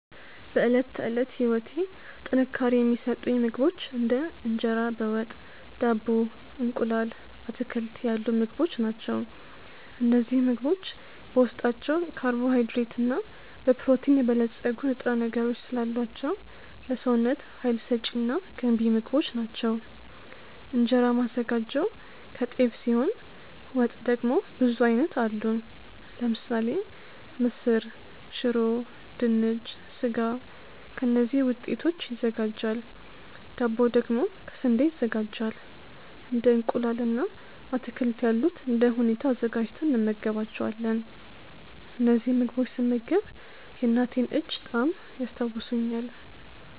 በዕለት ተዕለት ህይወቴ ጥንካሬ የሚሰጡኝ ምግቦች እንደ እንጀራ በ ወጥ፣ ዳቦ፣ እንቁላል፣ አትክልት ያሉ ምግቦች ናቸው። እነዚህ ምግቦች በውስጣቸው ካርቦሃይድሬት እና በፕሮቲን የበለፀጉ ንጥረ ነገሮች ስላሏቸው ለሰውነት ሀይል ሰጪ እና ገንቢ ምግቦች ናቸው። እንጀራ ማዘጋጀው ከጤፍ ሲሆን ወጥ ደግሞ ብዙ አይነት አሉ ለምሳሌ ምስር፣ ሽሮ፣ ድንች፣ ስጋ ከእነዚህ ውጤቶች ይዘጋጃል ዳቦ ደግሞ ከ ስንዴ ይዘጋጃል እንደ እንቁላል እና አትክልት ያሉት እንደ ሁኔታው አዘጋጅተን እንመገባቸዋለን። እነዚህን ምግቦች ስመገብ የእናቴን እጅ ጣዕም ያስታውሱኛል።